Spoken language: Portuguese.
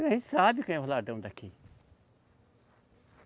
A gente sabe quem é os ladrão daqui.